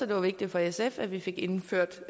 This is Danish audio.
det var vigtigt for sf at vi fik indført